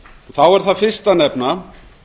þá er þar fyrst að nefna